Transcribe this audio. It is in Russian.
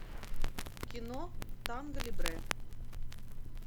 кино танго либре